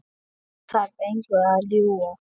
Ég þarf engu að ljúga.